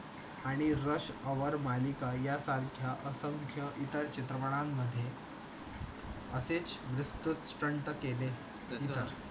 आणि rush our मालिका या सारख्या असंख्या इतर चित्रणांमध्ये. असेच विस्तृत stunt केले. अच्छा